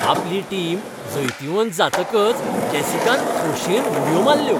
आपली टीम जैतिवंत जातकच जेसिकान खोशेन उडयो मारल्यो.